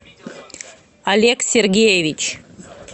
олег сергеевич